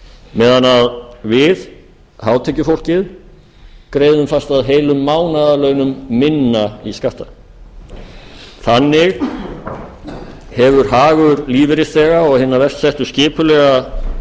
meðan við hátekjufólkið greiðum fast að heilum mánaðarlaunum minna í skatta þannig hefur hagur lífeyrisþega og hinna verst settu skipulega meðvitað